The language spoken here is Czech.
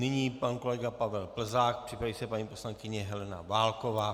Nyní pan kolega Pavel Plzák, připraví se paní poslankyně Helena Válková.